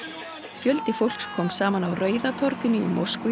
fjöldi fólks kom saman á Rauða torginu í Moskvu í